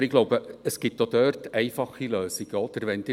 Aber ich glaube, es gibt auch dort einfache Lösungen.